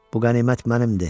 Bu qənimət mənimdir.